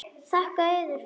Þakka yður fyrir.